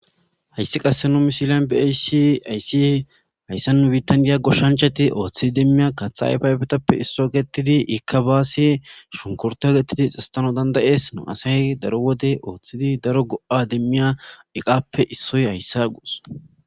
Hayssi qassi nu misilen be7ishin hayssi hayssa nu biiththan diya goshshanchchathi ooththidi miya kaththa ayfa ayfethappe issuwa geetheththidi ikka baassi shunkkurththiyaa geetheththidi xeeseththanawu dandda7ees;nu asay daro wode ooththidi daro go7aa demmiya iqaappe issoy hayssa gos.